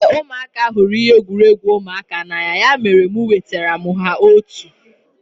Éè, ụmụaka hụrụ ihe egwuregwu ụmụaka n'anya ya mere e wetara m ha otu